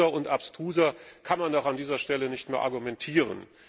Absurder und abstruser kann man doch an dieser Stelle nicht mehr argumentieren!